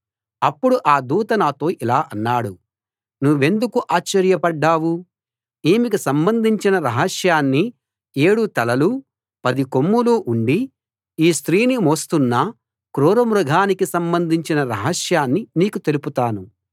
అప్పుడు ఆ దూత నాతో ఇలా అన్నాడు నువ్వెందుకు ఆశ్చర్యపడ్డావు ఈమెకు సంబంధించిన రహస్యాన్నీ ఏడు తలలూ పది కొమ్ములూ ఉండి ఈ స్త్రీని మోస్తున్న క్రూరమృగానికి సంబంధించిన రహస్యాన్నీ నీకు తెలుపుతాను